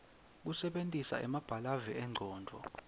kusebentisa emabalave engcondvo